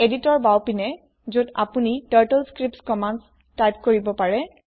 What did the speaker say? editor বাওঁপিনে যত আপোনি টাৰ্টলস্ক্ৰিপ্ট কম্মান্দ টাইপ কৰিব পাৰে